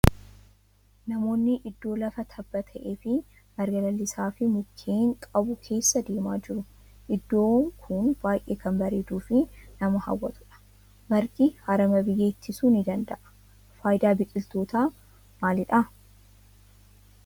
Namoonnii iddoo lafa tabba ta'ee fi marga lalisaa fi mukkeen qabu keessa deemaa jiru. Iddoo kun baayyee kan bareeduu fi nama hawwatudha. Margi harama biyyee ittisuu ni danda'a. Faayidaan biqiltootaa maalidha?